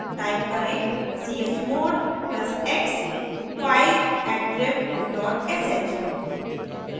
type करें chmod plus x fileattrib dot sh